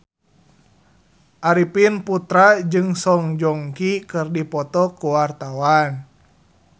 Arifin Putra jeung Song Joong Ki keur dipoto ku wartawan